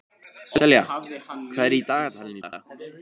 Selja, hvað er í dagatalinu í dag?